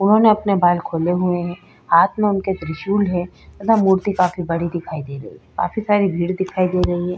उन्होंने अपने बाल खोलें हुए है हाथ में उनके त्रिशूल है तथा मूर्ति काफी बड़ी दिखाई दे रही है काफी सारी भीड़ दिखाई दे रही है।